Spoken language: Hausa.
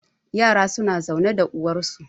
yara suna zaune da uwarsu